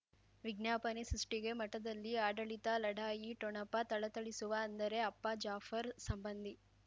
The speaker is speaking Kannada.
ವಿಜ್ಞಾಪನೆ ಸೃಷ್ಟಿಗೆ ಮಠದಲ್ಲಿ ಆಡಳಿತ ಲಢಾಯಿ ಠೊಣಪ ಥಳಥಳಿಸುವ ಅಂದರೆ ಅಪ್ಪ ಜಾಫರ್ ಸಂಬಂಧಿ